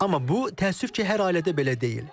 Amma bu təəssüf ki, hər ailədə belə deyil.